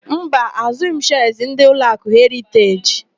Mba, àzụ́ghị m shịas ndị Ụlọakụ Heriteji.